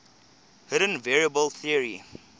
hidden variable theory